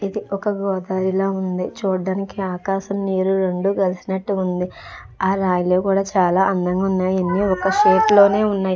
ఇది ఒక గోదారిల ఉంది. చూడ్డానికి ఆకాశం నీరు రెండు కలిసినట్టు ఉంది. అ రాయిలు కూడా చాలా అందంగా ఉన్నాయి. ఇవన్నీ ఒక షేప్ లోనే ఉన్నాయి.